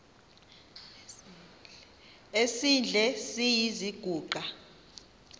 esidl eziny iziguqa